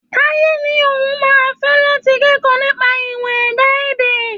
Táyé ní òun máa fé láti kẹ́kọ̀ọ́ nípa ìmọ̀ ẹ̀dá-èdẹ̀.